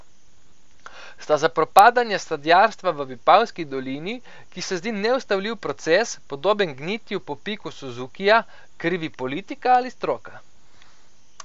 Sta za propadanje sadjarstva v Vipavski dolini, ki se zdi neustavljiv proces, podoben gnitju po piku suzukija, krivi politika ali stroka?